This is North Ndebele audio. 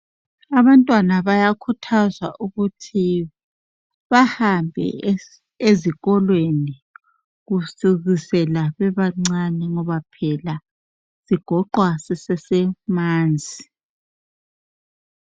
Abantwana bayakhuthazwa ukuthi bahambe ezikolweni kusukisela bebancane ngoba phela sigoqwa sisesemanzi